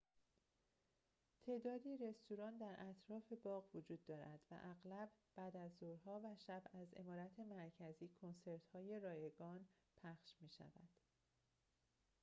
تعدادی رستوران در اطراف باغ وجود دارد و اغلب بعدازظهرها و شب از عمارت مرکزی کنسرت‌های رایگان پخش می‌شود